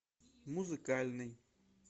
музыкальный